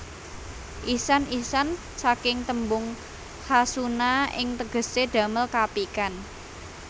Ihsan Ihsan saking témbung khasuna ing tégésé damél kaapikan